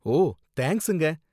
ஓ, தேங்கஸுங்க.